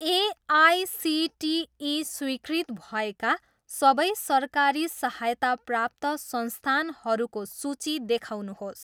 AICTE स्वीकृत भएका सबै सरकारी सहायता प्राप्त संस्थानहरूको सूची देखाउनुहोस्।